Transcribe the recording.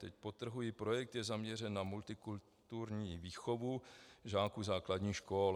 Teď podtrhuji: projekt je zaměřen na multikulturní výchovu žáků základních škol.